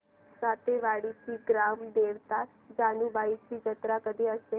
सातेवाडीची ग्राम देवता जानुबाईची जत्रा कधी असते